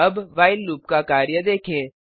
अब while loop का कार्य देखें